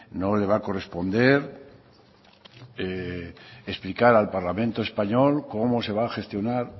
no le va a corresponder explicar al parlamento español cómo se va a gestionar